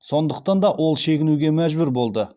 сондықтан да ол шегінуге мәжбүр болды